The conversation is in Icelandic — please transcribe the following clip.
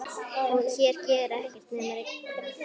Hér gerir ekkert nema rigna.